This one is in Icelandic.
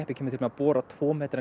kemur til með að bora tvo metra